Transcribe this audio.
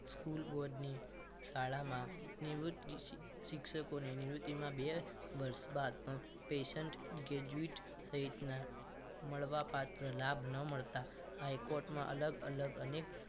School board ની શાળામાં નિવૃત્ત શિક્ષકોને નિવૃત્તિમાં બે વર્ષ બાદ પણ present graduation સહિતના મળવા પાત્ર લાભ ન મળતા હાઇકોર્ટમાં અલગ અલગ અનેક